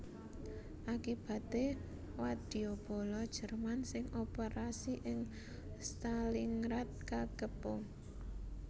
Akibaté wadyabala Jerman sing operasi ing Stalingrad kakepung